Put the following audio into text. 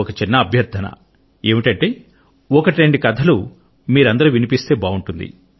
నాది ఒక చిన్న అభ్యర్థన ఏమిటంటే ఒకటి రెండు కథలు వినిపించండి మీరు